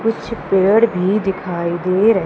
कुछ पेड़ भी दिखाई दे र--